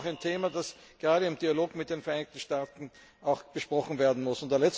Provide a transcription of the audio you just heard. Aber das ist auch ein Thema, das gerade im Dialog mit den Vereinigten Staaten besprochen werden muss.